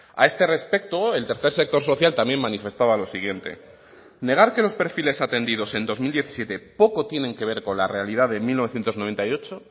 a este respecto el tercer sector social también manifestaba lo siguiente negar que los perfiles atendidos en dos mil diecisiete poco tienen que ver con la realidad de mil novecientos noventa y ocho